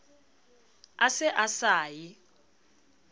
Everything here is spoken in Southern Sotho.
a se a sa ye